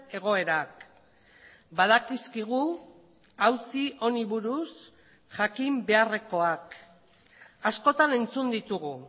egoerak badakizkigu auzi honi buruz jakin beharrekoak askotan entzun ditugu